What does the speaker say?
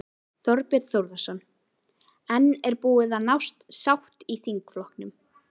Þorbjörn Þórðarson: En er búin að nást sátt í þingflokknum?